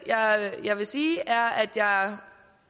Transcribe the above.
jeg vil sige er at jeg